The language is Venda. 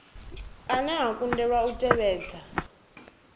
ane a kundelwa u tevhedza